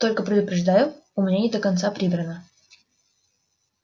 только предупреждаю у меня не до конца прибрано